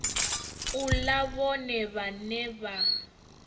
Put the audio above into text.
u ḽa vhone vhaṋe a